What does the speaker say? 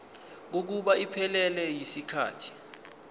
kokuba iphelele yisikhathi